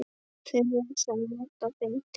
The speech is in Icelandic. Þeirra sem nota bindi?